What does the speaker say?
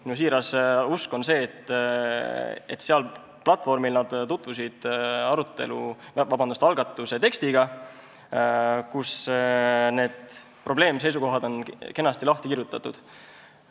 Minu siiras usk on see, et seal platvormil nad tutvusid algatuse tekstiga, kus on need probleemseisukohad kenasti lahti kirjutatud.